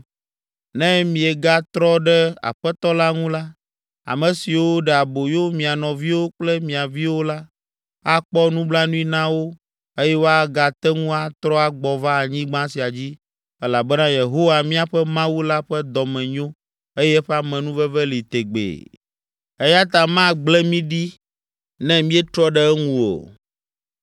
Ne miegatrɔ ɖe Aƒetɔ la ŋu la, ame siwo ɖe aboyo mia nɔviwo kple mia viwo la, akpɔ nublanui na wo eye woagate ŋu atrɔ agbɔ va anyigba sia dzi elabena Yehowa, míaƒe Mawu la ƒe dɔme nyo eye eƒe amenuveve li tegbee eya ta magble mí ɖi, ne míetrɔ ɖe eŋu o.”